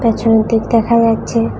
পিছনের দিক দেখা যাচ্ছে।